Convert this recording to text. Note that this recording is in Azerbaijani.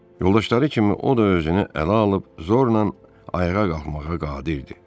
Yoldaşları kimi o da özünü ələ alıb zorla ayağa qalxmağa qadir idi.